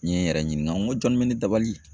N ye n yɛrɛ ɲininka, n ko jɔn bɛ ne dabali